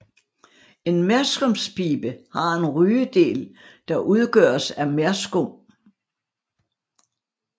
En merskumspibe har en rygedel der udgøres af merskum